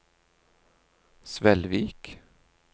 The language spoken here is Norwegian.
Svelvik